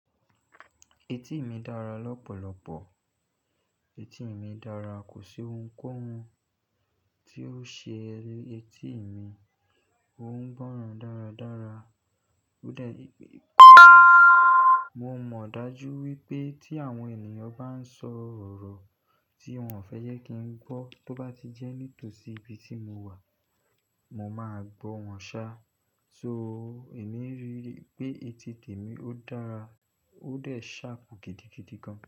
Etí mi dára lọ́pọ̀lọpọ̀. Etí mi dára, kò sí ohunkóhun tí ó ṣe etí mi, ó ń gbọ́ràn dáradára. Ó dẹ̀, mo mọ̀ dájú wípé tí àwọn ènìyàn bá ń sọ ọ̀rọ̀ tí wón fẹ́ yẹ kí n gbọ́ tó bá ti jẹ́ nítòsí ibi tí mo wà, mo máa gbọ́ wọn ṣá. So, èmi ń ríi pé etí tèmi ó dára, ó dẹ̀ ṣharp gidi gidi gan.